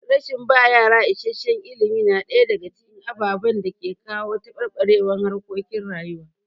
Rashin ba yara isasshen ilimi na ɗaya daga cikin ababen da ke kawo taɓarɓarewar harkokin rayuwa.